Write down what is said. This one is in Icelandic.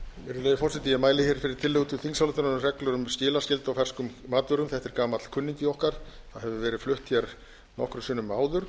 virðulegi forseti ég mæli fyrir tillögu til þingsályktunar um reglur um skilaskyldu á ferskum matvörum þetta er gamall kunningi okkar og hefur verið fluttur nokkrum sinnum áður